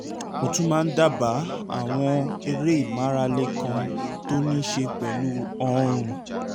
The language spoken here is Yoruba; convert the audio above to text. mo tún máa ń dábàá àwọn eré ìmárale kan tó ní í ṣe pẹ̀lú ọrùn